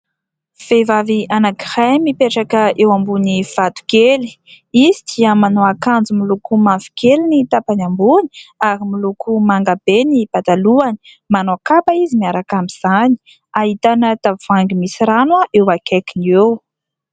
Vehivavy anankiray mipetraka eo ambony vatokely. Izy dia manao akanjo miloko mavokely ny tapany ambony ary miloko mangabe ny patalohany. Manao kapa izy miaraka amin'izany. Ahitana tavoahangy misy rano eo akaikiny eo.